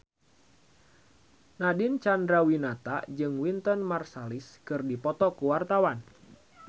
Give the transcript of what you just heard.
Nadine Chandrawinata jeung Wynton Marsalis keur dipoto ku wartawan